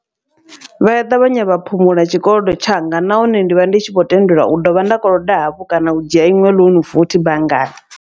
Vha ya ṱavhanya vha phumula tshikolodo tshanga, nahone ndivha ndi tshi vho tendelwa u dovha nda koloda hafhu kana u dzhia iṅwe ḽounu futhi banngani.